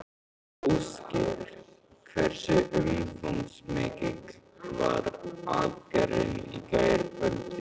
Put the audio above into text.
Ásgeir, hversu umfangsmikil var aðgerðin í gærkvöldi?